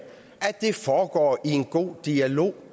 foregår i en god dialog